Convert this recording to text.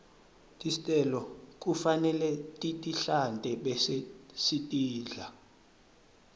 tistelo kufanele sitihlante bese sitidla